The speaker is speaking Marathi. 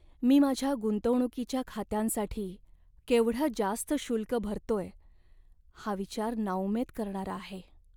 मी माझ्या गुंतवणूकीच्या खात्यांसाठी केवढं जास्त शुल्क भरतोय हा विचार नाउमेद करणारा आहे.